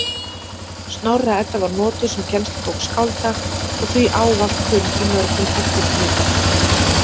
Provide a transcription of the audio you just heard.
Snorra-Edda var notuð sem kennslubók skálda og því ávallt kunn í mörgum eftirritum.